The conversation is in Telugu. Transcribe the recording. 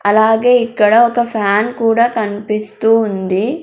అలాగే ఇక్కడ ఒక ఫ్యాన్ కూడా కనిపిస్తూ ఉంది.